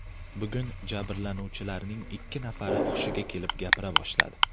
Bugun jabrlanuvchilarning ikki nafari hushiga kelib gapira boshladi.